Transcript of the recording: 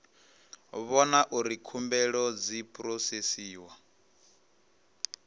vhona uri khumbelo dzi phurosesiwa